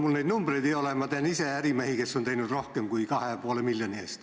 Mul neid numbreid ei ole, aga ma tean ise ärimehi, kes on investeerinud rohkem kui 2,5 miljoni ulatuses.